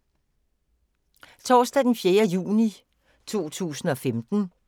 Torsdag d. 4. juni 2015